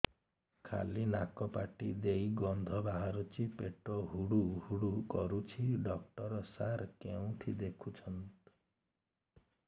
ଖାଲି ନାକ ପାଟି ଦେଇ ଗଂଧ ବାହାରୁଛି ପେଟ ହୁଡ଼ୁ ହୁଡ଼ୁ କରୁଛି ଡକ୍ଟର ସାର କେଉଁଠି ଦେଖୁଛନ୍ତ